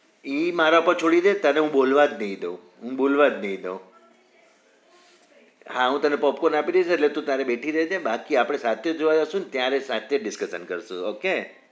ઈ મારા પર છોડી દે તને હું બોલવા જ નઈ દઉ હું બોલવા જ નઈ દઉ હા હું તને popcorn આપી દઈસ તું તારે બેઠી રેજે બાકી આપડે સાથે જોવા જઈશું અને ત્યારે સાથે જ discuss કરશું ઓકે